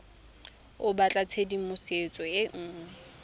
o batla tshedimosetso e nngwe